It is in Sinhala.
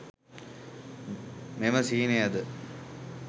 මෙම සිහිනයද